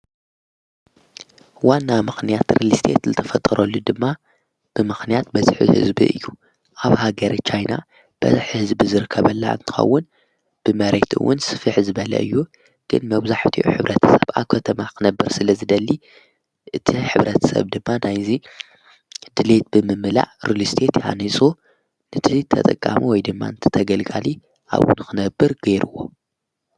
ዋና ምኽንያት ርልስቴት ልተፈጠረሉ ድማ ብምኽንያት በዝሒ ህዝቢ እዩ ኣብ ሃገረ ቻይና በዝሒ ህዝቢ ዝርከበላ እንትከውን ብመሬትውን ስፊሕ ዝበለ እዩ ግን መብዛሕቲኡ ሕብረትሰብ ኣብኸተማ ኽነብር ስለዝደሊ እቲ ሕብረትሰብ ድማ ናይዚ ድልየት ብምምላዕ ርሊስቴት ሃኒፁ ንቲ ተጠቃሚ ወይ ድማ እንቲ ተገልጋሊ ኣብኡ ንኽነብር ገይርዎ።